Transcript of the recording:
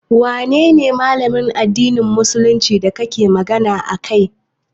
Wanene Malamin addinin musuluncin da kake magana a kai?